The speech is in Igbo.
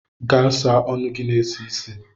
Gaa sa ọnụ gị na-esi ísì.